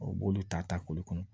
O b'olu ta ta kolo kɔnɔ